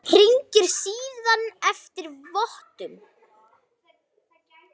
Hringir síðan eftir vottum.